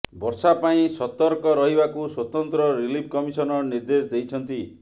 ବର୍ଷା ପାଇଁ ସତର୍କ ରହିବାକୁ ସ୍ୱତନ୍ତ୍ର ରିଲିଫ କମିଶନର ନିର୍ଦ୍ଦେଶ ଦେଇଛନ୍ତି